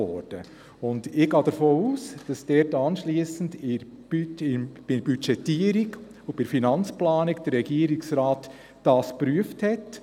Ich gehe davon aus, dass der Regierungsrat diese anschliessend bei der Budgetierung und bei der Finanzplanung geprüft hat.